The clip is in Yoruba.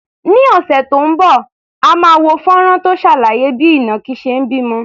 Ní ọ̀sẹ̀ tó ń bọ̀, a máa wo fọ́nrán tó ṣàlàyé bí ìnàkí ṣe ń bímọ.